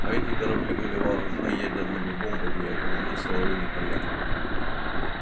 а эти корабли были вооружены ядерными бомбами и окружены силовыми полями